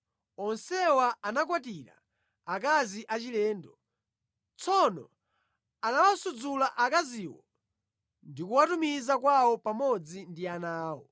Onsewa anakwatira akazi achilendo. Tsono anawasudzula akaziwo ndi kuwatumiza kwawo pamodzi ndi ana awo.